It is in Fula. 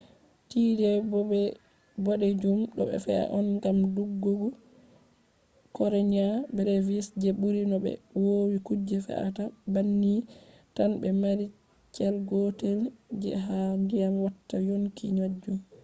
tide bodejum do fe’a on gam dudugo karenia brevis je buri no be vowi kuje fe’ata banni tan je mari cell gotel je ha dyam watta yonki majum